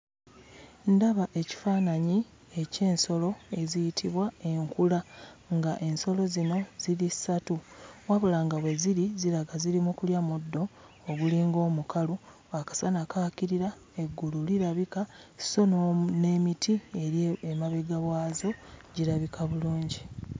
Ndaba ekifaananyi eky'ensolo eziyitibwa enkula. Nga ensolo zino ziri ssatu wabula nga we ziri ziraga ziri mu kulya muddo ogulinga omukalu. Akasana kaakirira, eggulu lirabika, sso n'emiti eri emabega waazo girabika bulungi.